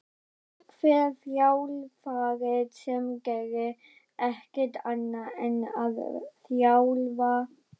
Er einhver þjálfari sem gerir ekkert annað en að þjálfa?